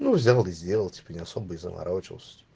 ну взял и сделал типа не особо и заморачивался-то